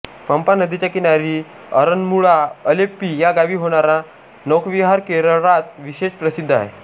पंपा नदीच्या किनारी आरन्मूळा अलेप्पी या गावी होणारा नौकाविहार केरळात विशेष प्रसिद्ध आहे